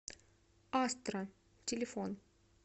астра телефон